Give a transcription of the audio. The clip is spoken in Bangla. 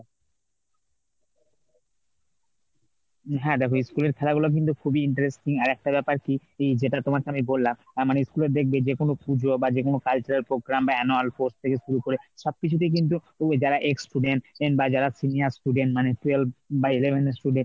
হ্যাঁ দেখো, school এর খেলাগুলো কিন্তু খুবই interesting আর একটা ব্যাপার কি যেটা তোমাকে আমি বললাম অ্যাঁ মানে school এর দেখবে যে কোন পুজো বা যে কোন cultural program বা annual sports থেকে শুরু করে সবকিছু তেই কিন্তু তুমি যারা ex student বা যারা senior student মানে twelve বা eleven এর student